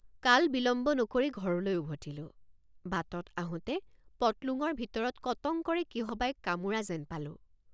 কাল বিলম্ব নকৰি ঘৰলৈ উভতিলোঁ। বাটত আহোঁতে পটলুঙৰ ভিতৰত কটং কৰে কিহবাই কামোৰা যেন পালোঁ।